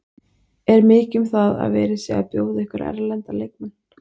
Er mikið um það að verið sé að bjóða ykkur erlenda leikmenn?